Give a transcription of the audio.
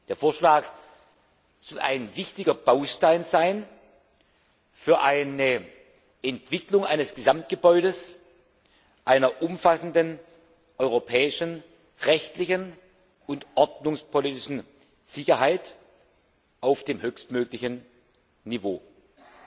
Der Vorschlag soll ein wichtiger Baustein für die Entwicklung eines Gesamtgebäudes einer umfassenden europäischen rechtlichen und ordnungspolitischen Sicherheit auf dem höchstmöglichen Niveau sein.